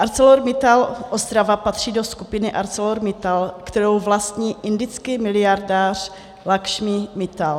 ArcelorMittal Ostrava patří do skupiny ArcelorMittal, kterou vlastní indický miliardář Lakšmí Mittal.